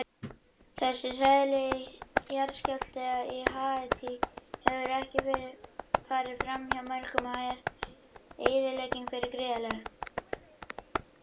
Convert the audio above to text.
Þessi hræðilegi jarðskjálfti á Haítí hefur ekki farið framhjá mörgum og er eyðileggingin þar gríðarleg.